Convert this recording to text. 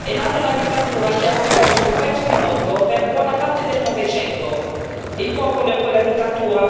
Da quella Rivoluzione d'ottobre è nata una dittatura che aveva preso un pezzo di mondo per buona parte del Novecento.